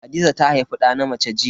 Hadiza ta haifi da na mace jiya.